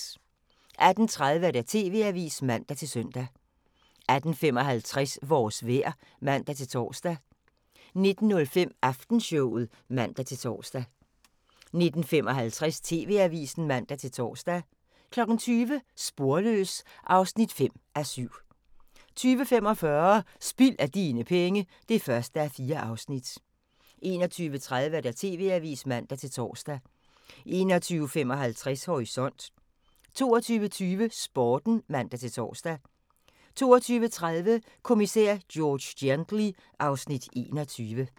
18:30: TV-avisen (man-søn) 18:55: Vores vejr (man-tor) 19:05: Aftenshowet (man-tor) 19:55: TV-avisen (man-tor) 20:00: Sporløs (5:7) 20:45: Spild af dine penge (1:4) 21:30: TV-avisen (man-tor) 21:55: Horisont 22:20: Sporten (man-tor) 22:30: Kommissær George Gently (Afs. 21)